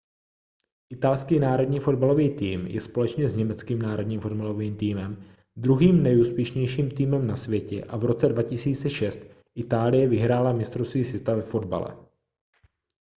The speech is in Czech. italský národní fotbalový tým je společně s německým národním fotbalovým týmem druhým nejúspěšnějším týmem na světě a v roce 2006 itálie vyhrála mistrovství světa ve fotbale